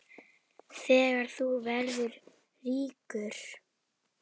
Þegar þú verður ríkur?